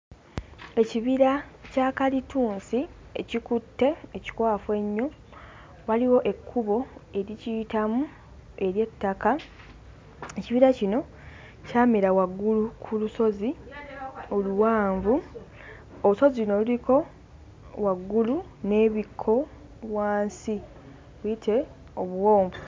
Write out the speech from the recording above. Ekibira kya kalitunsi ekikutte, ekikwafu ennyo, waliwo ekkubo erikiyitamu ery'ettaka, ekibira kino kyamera waggulu ku lusozi oluwanvu. Olusozi luno luliko waggulu n'ebikko wansi biyite obuwonvu.